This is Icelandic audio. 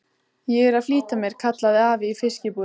Ég er að flýta mér, kallaði afi í fiskbúðinni.